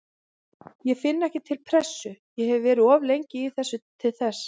Ég finn ekki til pressu, ég hef verið of lengi í þessu til þess.